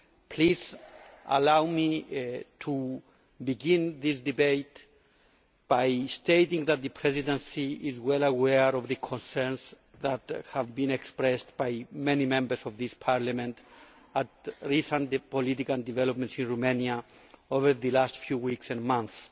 Please allow me to begin this debate by stating that the Presidency is well aware of the concerns that have been expressed by many Members of this Parliament at recent political developments in Romania over the last few weeks and months.